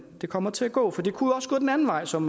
det kommer til at gå for det kunne også gå den anden vej som